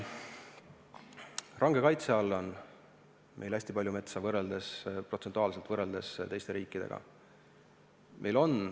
Range kaitse all on meil protsentuaalselt hästi palju metsa, võrreldes teiste riikidega.